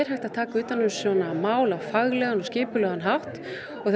hægt að taka utan um svona mál á faglegan og skipulegan hátt og